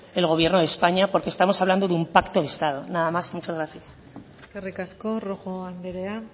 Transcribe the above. el gobierno de españa porque estamos hablando de un pacto de estado nada más y muchas gracias eskerrik asko rojo andrea